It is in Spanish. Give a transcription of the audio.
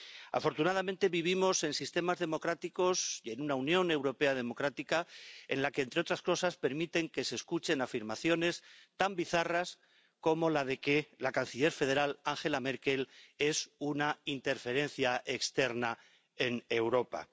Afortunadamente, vivimos en sistemas democráticos y en una Unión Europea democrática en la que, entre otras cosas, permiten que se escuchen afirmaciones tan bizarras como la de que la canciller federal, Angela Merkel es una interferencia externa en Europa.